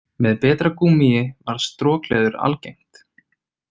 Með betra gúmmíi varð strokleður algengt.